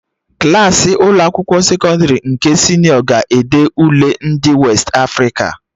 Klassị Ụlọ akwụkwọ sekọndrị nke senịọ ga na-ede Ule ndị Westị Afrịka